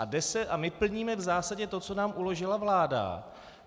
A my plníme v zásadě to, co nám uložila vláda.